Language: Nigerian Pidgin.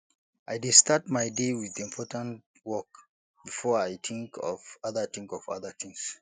i dey start my day with important work before i think of other think of other things